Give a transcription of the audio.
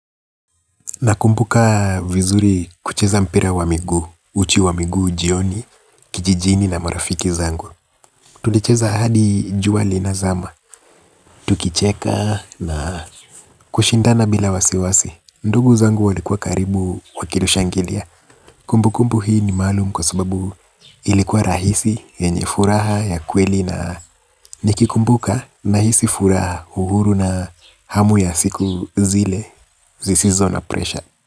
Nakumbuka vizuri kucheza mpira wa migu, uchi wa migu jioni, kijijini na marafiki zangu. Tulicheza hadi jua linazama, tukicheka na kushindana bila wasiwasi. Ndugu zangu walikua karibu wakinishangilia. Kumbu kumbu hii ni maalum kwa sababu ilikuwa rahisi yenye furaha ya kweli na nikikumbuka nahisi furaha uhuru na hamu ya siku zile. Sizizo na pressure.